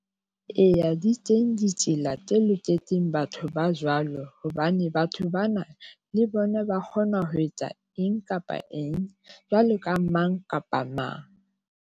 Eya, di teng ditsela tse loketseng batho ba jwalo hobane batho bana le bona ba kgona ho etsa eng kapa eng, jwalo ka mang kapa mang.